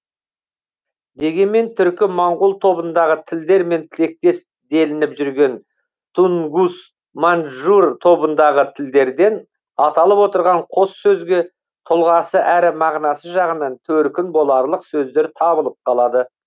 дегенмен түркі моңғол тобындағы тілдермен тектес делініп жүрген тунгус маньчжур тобындағы тілдерден аталып отырған қос сөзге тұлғасы әрі мағынасы жағынан төркін боларлық сөздер табылып қалады